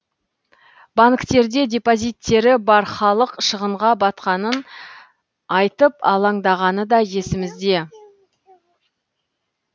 банктерде депозиттері бар халық шығынға батқанын айтып алаңдағаны да есімізде